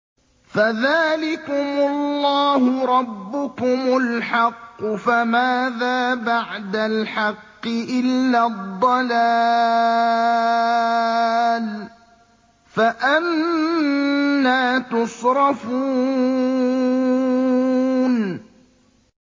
فَذَٰلِكُمُ اللَّهُ رَبُّكُمُ الْحَقُّ ۖ فَمَاذَا بَعْدَ الْحَقِّ إِلَّا الضَّلَالُ ۖ فَأَنَّىٰ تُصْرَفُونَ